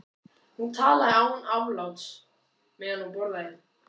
Hún talaði án afláts meðan hún borðaði.